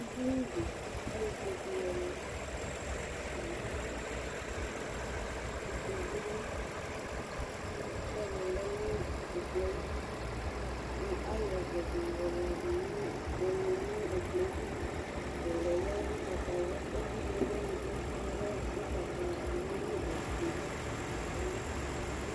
Edini k'ayɔ ikpokʋɖi lɔlɛ lakʋ ɛkplɔ bi lɛ, kʋ sɔlɔ lɛnʋ ɛklɔɛ ayiɖʋ kʋ ayɔ ɔvlɛɖi yɔlaɖʋ nʋʋʋyɔlɛ nʋ ɛkplɔɛ licolaɛ lɛ ʋgbata wlua ɛkʋ yea ɛlʋɛ ugbatawlua n'ɔfue